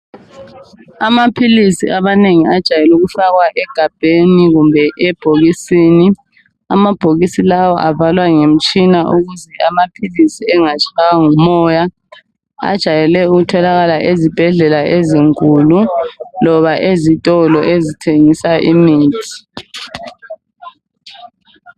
Amaphilisi amanengi ajayele ukufakwa egabheni kumbe ebhokisini. Amabhokisi lawa avalwa ngemitshina ukuze amaphilisi engatshaywa ngomoya. Ajayele ukutholakala ezibhedlela ezinkulu loba ezitolo ezithengisa imithi.